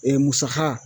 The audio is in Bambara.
musaka